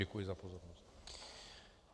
Děkuji za pozornost.